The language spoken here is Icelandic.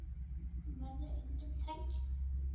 Þú verður enginn þræll.